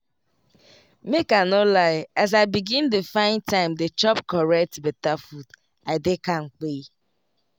make i no lie as i begin dey find time dey chop correct beta food i dey kampe.